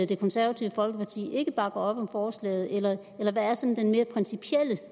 det konservative folkeparti ikke bakker op om forslaget eller hvad er sådan den mere principielle